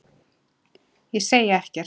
Ég segi ekkert.